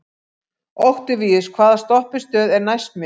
Októvíus, hvaða stoppistöð er næst mér?